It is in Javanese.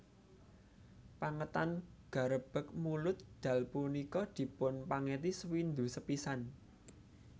Pengetan Garebeg Mulud Dal punika dipun pengeti sewindu sepisan